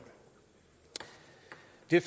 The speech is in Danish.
det